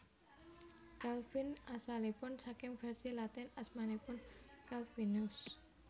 Calvin asalipun saking vèrsi Latin asmanipun Calvinus